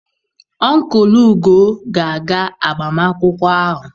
Ọnkụlụ Ugo ga-aga agbamakwụkwọ ahụ.